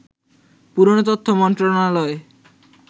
পুরনো তথ্য মন্ত্রণালয়